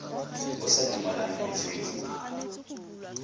o sa dumalane le tshwetso